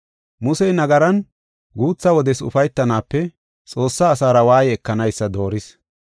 Musey nagaran guutha wodes ufaytanaape, Xoossaa asaara waaye ekanaysa dooris.